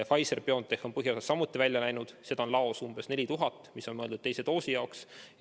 Pfizer-BioNTech on põhiosas samuti välja läinud, seda on laos umbes 4000 doosi, mis on mõeldud teise süsti jaoks.